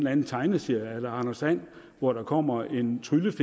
anden tegneserie eller anders and hvor der kommer en tryllefe